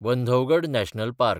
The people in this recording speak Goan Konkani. Bandhavgarh national park